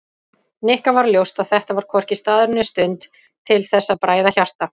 Nikka varð ljóst að þetta var hvorki staður né stund til þess að bræða hjarta